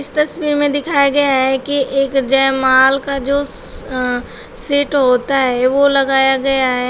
इस तस्वीर में दिखाया गया है कि एक जयमाल का जो अ सेट होता है वो लगाया गया है।